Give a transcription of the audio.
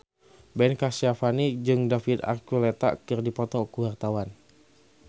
Ben Kasyafani jeung David Archuletta keur dipoto ku wartawan